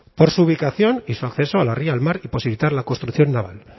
por su ubicación y su acceso a la ría al mar y posibilitar la construcción naval